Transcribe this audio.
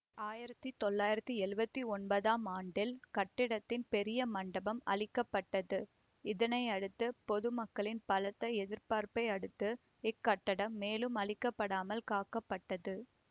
ஆயிரத்தி தொள்ளாயிரத்தி எழுவத்தி ஒன்பதாம் ஆண்டில் கட்டிடத்தின் பெரிய மண்டபம் அழிக்க பட்டது இதனையடுத்து பொதுமக்களின் பலத்த எதிர்ப்பை அடுத்து இக்கட்டிடம் மேலும் அழிக்கப்படாமல் காக்கப்பட்டது